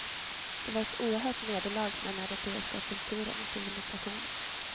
Det var ett oerhört nederlag för den europeiska kulturen och civilisationen.